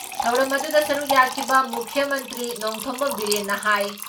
ꯊꯧꯔꯝ ꯑꯗꯨꯗ ꯁꯔꯨꯛ ꯌꯥꯈꯤꯕ ꯃꯨꯈ꯭ꯌ ꯃꯟꯇ꯭ꯔꯤ ꯅꯣꯡꯊꯣꯝꯕꯝ ꯕꯤꯔꯦꯟꯅ ꯍꯥꯏ